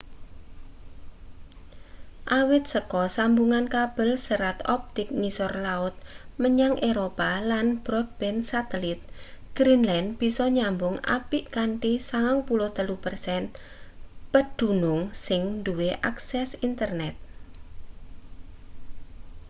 awit saka sambungan kabel serat optik ngisor laut menyang eropa lan broadband satelit greenland bisa nyambung apik kanthi 93% pedunung sing duwe akses internet